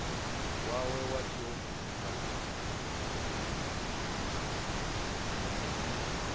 wawe wa tshiofisi kana u